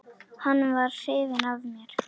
Hann var hrifinn af mér.